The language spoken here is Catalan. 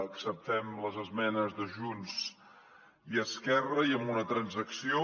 acceptem les esmenes de junts i esquerra i amb una transacció